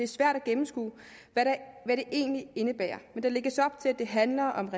svært at gennemskue hvad det egentlig indebærer men der lægges op til at det handler om